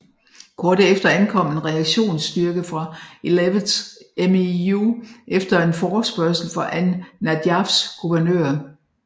Kort efter ankom en reaktionsstyrke fra 11th MEU efter en forespørgsel fra An Najafs guvernør